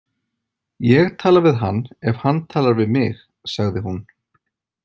Ég tala við hann ef hann talar við mig, sagði hún.